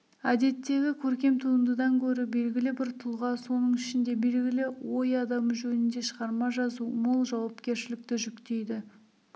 әдеттегі көркем туындыдан гөрі белгілі бір тұлға соның ішінде белгілі ой адамы жөнінде шығарма жазу мол жауапкершілікті жүктейді